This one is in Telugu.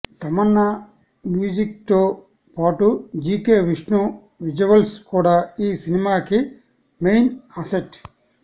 తమన్ మ్యూజిక్తో పాటు జీకే విష్ణు విజువల్స్ కూడా ఈ సినిమాకి మెయిన్ అసెట్